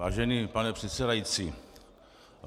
Vážený pane předsedající.